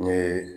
N ye